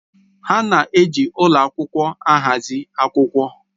A na-eji ụlọ akwụkwọ ahazi akwụkwọ